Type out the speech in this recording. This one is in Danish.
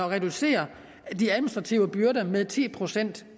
reducere de administrative byrder med ti procent